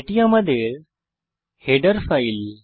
এটি আমাদের header file